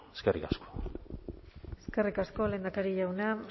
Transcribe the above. eskerrik asko eskerrik asko lehendakari jauna